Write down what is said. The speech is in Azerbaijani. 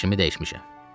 Fikrimi dəyişmişəm.